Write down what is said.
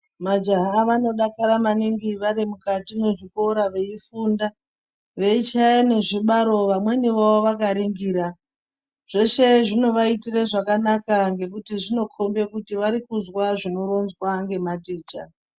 Majaha vanodakara maningi varimukati mezvikora veifunda veichaya nezvibaro vamweniwo vakaningira zveshe zvinovaitire zvakanaka ngekuti varikunzwa zvinoronzwa nematicha .